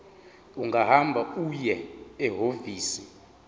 ungahamba uye ehhovisi